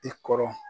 I kɔrɔ